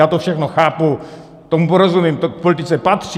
Já to všechno chápu, tomu rozumím, to k politice patří.